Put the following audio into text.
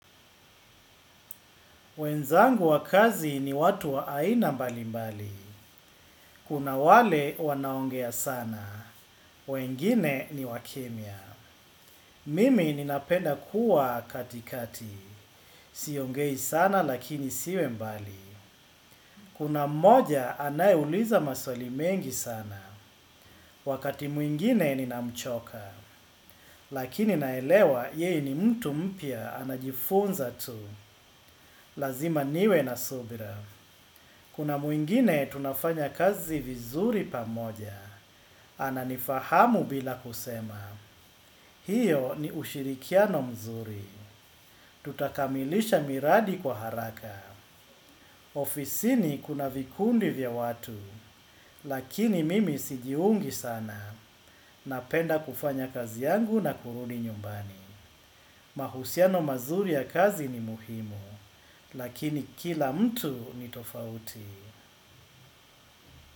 Wenzangu wa kazi ni watu wa aina mbali mbali. Kuna wale wanaongea sana. Wengine ni wakimya. Mimi ninapenda kuwa katikati. Siongei sana lakini siwe mbali. Kuna mmoja anaye uliza maswali mengi sana. Wakati mwingine ninamchoka. Lakini naelewa yeye ni mtu mpya anajifunza tu. Lazima niwe na subira. Kuna mwingine tunafanya kazi vizuri pamoja. Ananifahamu bila kusema. Hiyo ni ushirikiano mzuri. Tutakamilisha miradi kwa haraka. Ofisini kuna vikundi vya watu. Lakini mimi sijiungi sana. Napenda kufanya kazi yangu na kurudi nyumbani. Mahusiano mazuri ya kazi ni muhimu. Lakini kila mtu ni tofauti.